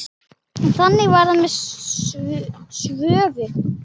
Þannig var það með Svövu.